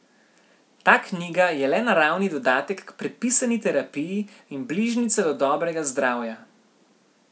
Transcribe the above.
Ta knjiga je le naravni dodatek k predpisani terapiji in bližnjica do dobrega zdravja.